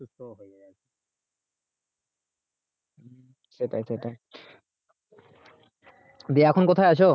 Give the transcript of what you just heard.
সেটাই সেটাই দিয়ে এখন কোথায় আছো?